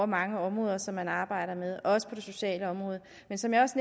mange områder som man arbejder med også på det sociale område men som jeg også